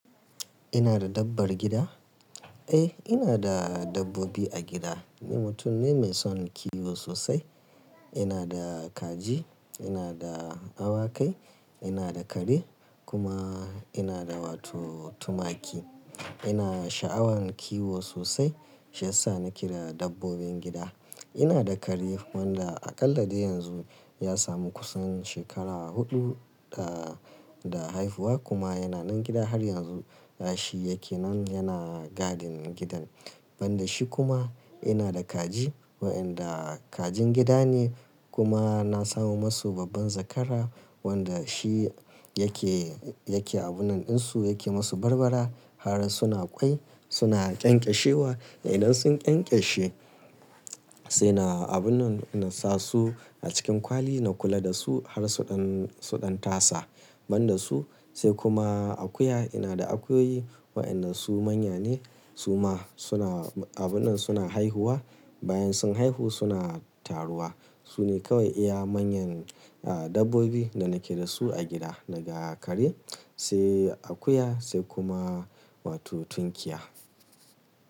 Ina da dabbar gida? Eh, ina da dabbobi a gida. Ni mutum ne mai son kiwo sosai. Ina da kaji, ina da awakai, ina da kare kuma ina da wato tumaki. Ina sha'awan kiwo sosai shiyasa na keda dabbobin gida. Ina da kare wanda aƙallade yanzu ya samu kusan shekara huɗu, ah, da haihuwa kuma yana nan gida har yanzu. Ah, shi yake nan yana gadin gidan. Ban da shi kuma ina da kaji waɗanda kajin gida ne kuma na samo masu babban zakara wanda shi yake, yake abunnan ɗinsu, yake masu barbara har suna ƙwai, suna ƙenƙeshewa. Idan sun ƙyanƙyashe sai na abunnan nasa su a cikin kwali na kula da su har su ɗan, su ɗan tasa. Ban da su sai kuma akuya. Ina da akuyoyi waɗanda su manya ne su ma suna abunnan suna haihuwa. Bayan sun haihu suna taruwa. Su ne kawai iya manyan, ah, dabbobi da nake da su a gida daga kare, sai akuya sai kuma wato tunkiya.